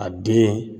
A den